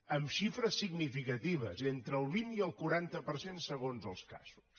amb xifres significatives entre el vint i el quaranta per cent segons els casos